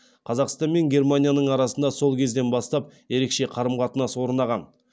қазақстан мен германияның арасында сол кезден бастап ерекше қарым қатынас орнаған